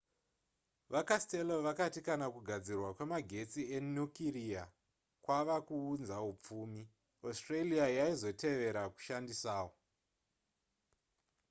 vacastello vakati kana kugadzirwa kwemagetsi enukiriya kwava kuunza hupfumi australia yaizotevera kushandisawo